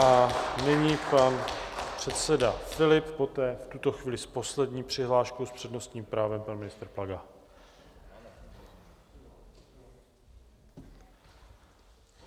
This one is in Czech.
A nyní pan předseda Filip, poté v tuto chvíli s poslední přihláškou s přednostním právem pan ministr Plaga.